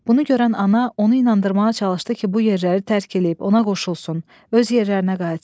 Bunu görən ana onu inandırmağa çalışdı ki, bu yerləri tərk eləyib ona qoşulsun, öz yerlərinə qayıtsın.